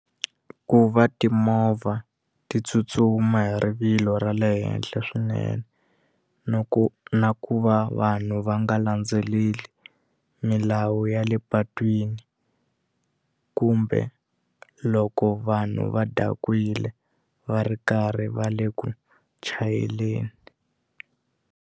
Ku va timovha ti tsutsuma hi rivilo ra le henhle swinene no ku na ku va vanhu va nga landzeleli milawu ya le patwini kumbe loko vanhu va dakwile va ri karhi va le ku chayeleni.